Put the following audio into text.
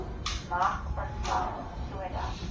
mag ontvang sodat